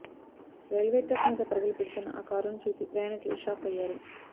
railway track మీద పరుగులు పెడుతున్న ఆ కారును చూసి ప్రయాణికులు షాక్ అయ్యారు